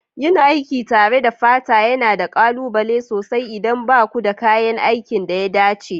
Yin aiki tare da fata yana da ƙalubale sosai idan ba ku da kayan aikin da ya dace.